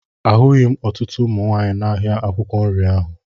Ahụghị m ọtụtụ ụmụ nwaanyị n'ahịa akwụkwọ nri ahụ